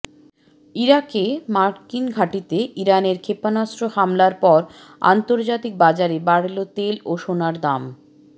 ইরাকে মার্কিন ঘাঁটিতে ইরানের ক্ষেপণাস্ত্র হামলার পর আন্তর্জাতিক বাজারে বাড়ল তেল ও সোনার দাম